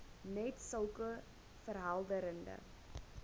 net sulke verhelderende